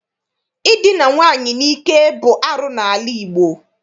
Idina nwaanyị n'ike bụ arụ n'ala Igbo.